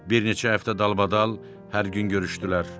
Bir neçə həftə dalbadal hər gün görüşdülər.